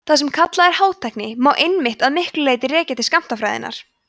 það sem kallað er hátækni má einmitt að miklu leyti rekja til skammtafræðinnar